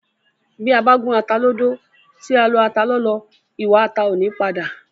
Bí a bá gún ata lódó, tí a lọ ata lọ́lọ́, ìwà ata ò ní padà